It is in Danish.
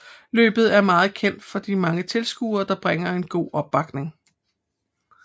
Løbet er meget kendt for de mange tilskuere der bringer en god opbakning